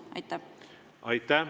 Aitäh!